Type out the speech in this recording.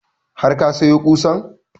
Har ka sayo ƙusan?